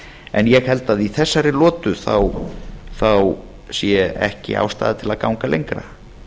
en ég held í þessari lotu sé ekki ástæða til að ganga lengra